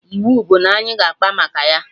Iwu bụ na anyị ga akpa maka ya!